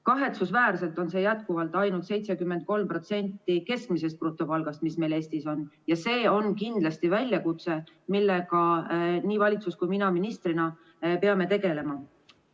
Kahetsusväärselt on see jätkuvalt ainult 73% keskmisest brutopalgast, mis meil Eestis on, ja see on kindlasti väljakutse, millega nii valitsus kui ka mina ministrina peame tegelema.